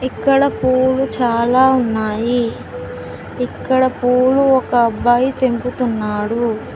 ఇక్కడ పూలు చాలా ఉన్నాయి ఇక్కడ పూలు ఒక అబ్బాయి తెంపుతున్నాడు.